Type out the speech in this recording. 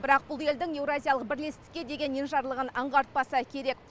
бірақ бұл елдің еуразиялық бірлестікке деген енжарлығын аңғартпаса керек